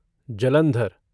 Jalandhar